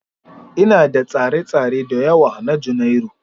Ina da tsare-tsare da yawa na Janairu.